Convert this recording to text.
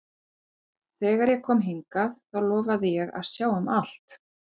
Þegar ég kom hingað þá lofaði ég að sjá um allt.